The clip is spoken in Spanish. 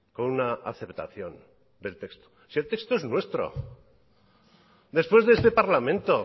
con una aceptación del texto si el texto es nuestro después de este parlamento